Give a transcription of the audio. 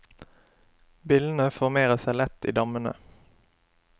Billene formerer seg lett i dammene.